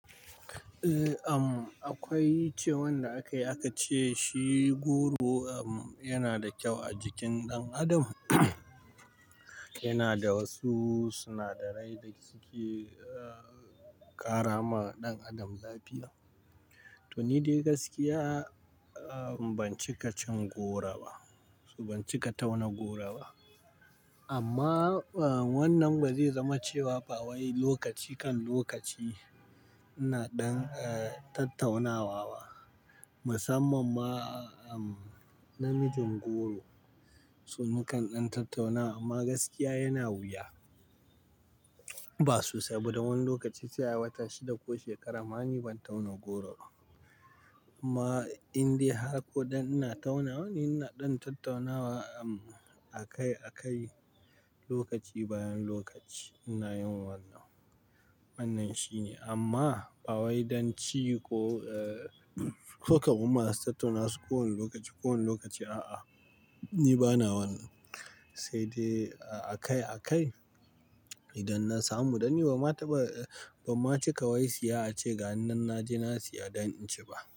Eh, am akwai wanda aka yi aka ce shi goro yana da kyau a jikin ɗan adam. Yana da wasu sinadarai da suke ƙara ma ɗan adam lafiya. To ni dai gaskiya ban ci kacin goro ba, so ban ci katauna goro ba. Amma wannan ba zai zama cewa ba wai lokaci kan lokaci ina ɗan tattaunawa ba, musamman ma namijin goro. So ni kan ɗan tattauna amma gaskiya yana wuya. Ba sosai dan wani lokaci sai a wata shida ko shekara ma ni ban tauna goro ba. Amma in dai har ko ɗan ina tauna, ni ina ɗan tattaunawa a kai a kai lokaci bayan lokaci ina yin wannan. Wannan shine amma ba wai don ci ko ko ko masu tattaunawa su kowane lokaci, kowane lokaci a'a, ni bana wannan. Sai dai a kai a kai idan na samu ɗan ni ba ma taɓa, ba ma ci kawai siya ace ga ni nan je na siya don in ci ba.